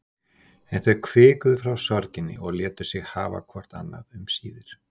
En þau hvikuðu frá sorginni og létu sig hafa hvort annað um síðir.